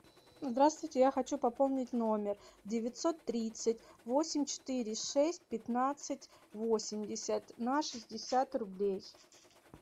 здравствуйте я хочу пополнить номер девятьсот тридцать восемь четыре шесть пятнадцать восемьдесят на шестьдесят рублей